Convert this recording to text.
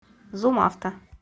зум авто